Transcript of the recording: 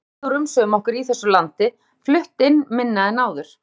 Við gætum dregið úr umsvifum okkar í þessu landi, flutt inn minna en áður.